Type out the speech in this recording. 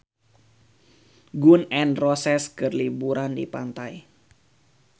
Gun N Roses keur liburan di pantai